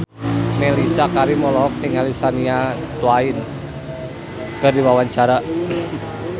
Mellisa Karim olohok ningali Shania Twain keur diwawancara